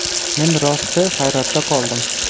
Men rosti hayratda qoldim.